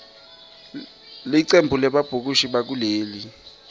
licembu lebabhukushi bakuleli